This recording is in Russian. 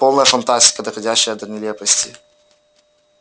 полная фантастика доходящая до нелепости